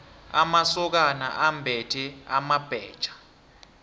amasokana ambethe amabhetjha